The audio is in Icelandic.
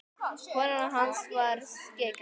Konan hans var skyggn.